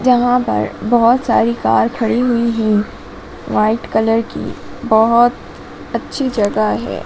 जहाँ पर बहोत सारी कार खड़ी हुई हैं व्हाइट कलर की बहोत अच्छी जगह हैं।